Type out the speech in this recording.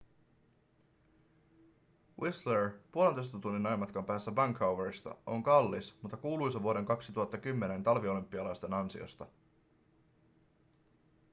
whistler puolentoista tunnin ajomatkan päässä vancouverista on kallis mutta kuuluisa vuoden 2010 talviolympialaisten ansiosta